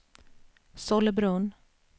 Sollebrunn